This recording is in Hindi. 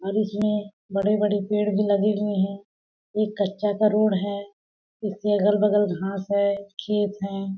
और इसमें बड़े-बड़े पेड़ भी लगे हुए है एक कच्चा का रोड है इसके अगल-बगल घास है खेत हैं।